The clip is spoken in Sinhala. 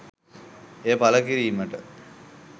එය පළ කිරීමට